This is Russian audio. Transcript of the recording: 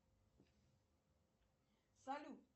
салют